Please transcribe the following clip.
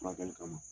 Furakɛli kama